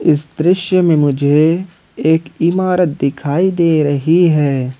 इस दृश्य में मुझे एक इमारत दिखाई दे रही है।